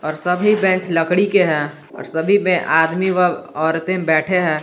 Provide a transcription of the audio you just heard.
और सभी बेंच लकड़ी के है और सभी पे आदमी व औरते बैठे है।